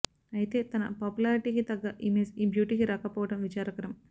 అయితే తన పాపులారిటీకి తగ్గ ఇమేజ్ ఈ బ్యూటీకి రాకపోవడం విచారకరం